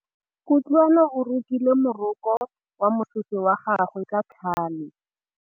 Kutlwanô o rokile morokô wa mosese wa gagwe ka tlhale.